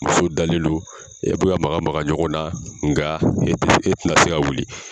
Muso dalen lo e bɛ ka maga maga ɲɔgɔn na nga e tɛ e tɛ na se ka wuli.